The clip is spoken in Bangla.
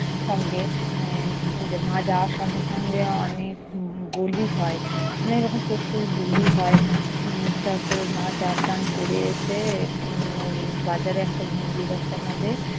সঙ্গে আহ মা যাওয়ার সঙ্গে সঙ্গে অনেক বলি হয়। মানে এইরকম পশুই বলি হয়। উম তারপরে মা স্নান-টান করে এসে উম ঐ বাজারে একটা মন্দির আছে আমাদের